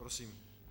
Prosím.